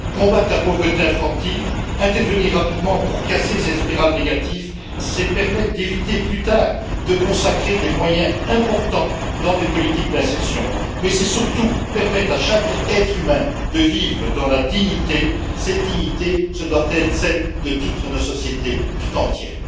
Combattre la pauvreté infantile, intervenir rapidement pour casser cette spirale négative, c'est permettre d'éviter, plus tard, de devoir consacrer des moyens importants à des politiques d'insertions, mais c'est surtout permettre à chaque être humain de vivre dans la dignité, cette dignité qui doit être celle de notre société toute entière.